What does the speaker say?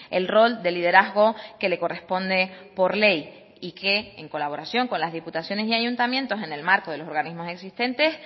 el rol de liderazgo que le corresponde por ley y que en colaboración con las diputaciones y ayuntamientos en el marco de los organismos existentes